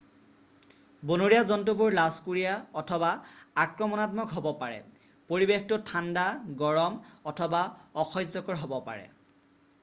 বনৰীয়া জন্তুবোৰ লাজকুৰীয়া অথবা আক্ৰমনাত্মক হ'ব পাৰে পৰিবেশটো ঠাণ্ডা গৰম অথবা অসহ্যকৰ হ'ব পাৰে